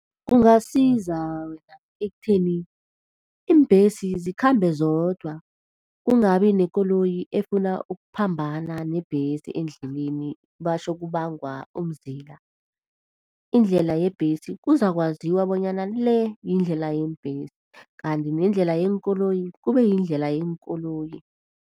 Kungasiza wena ekutheni iimbhesi zikhambe zodwa, kungabi nekoloyi efuna ukuphambana nebhesi endleleni batjho kubangwa umzila. Indlela yebhesi kuzakwaziwa bonyana le yindlela yeembhesi, kanti nendlela yeenkoloyi kube yindlela yeenkoloyi.